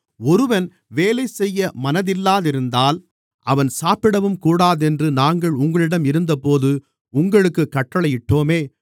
ஒருவன் வேலைசெய்ய மனதில்லாதிருந்தால் அவன் சாப்பிடவும்கூடாதென்று நாங்கள் உங்களிடம் இருந்தபோது உங்களுக்குக் கட்டளையிட்டோமே